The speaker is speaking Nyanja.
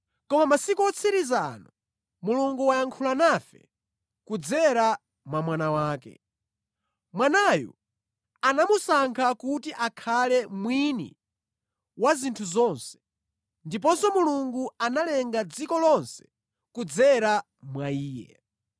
Koma masiku otsiriza ano, Mulungu wayankhula nafe kudzera mwa Mwana wake. Mwanayu anamusankha kuti akhale mwini wa zinthu zonse, ndiponso Mulungu analenga dziko lonse kudzera mwa Iye.